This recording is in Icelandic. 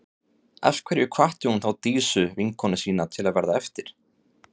Af hverju hvatti hún þá Dísu, vinkonu sína, til að verða eftir?